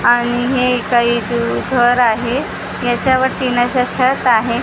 आणि हे काही दू घर आहे याच्यावरती ना असं छत आहे .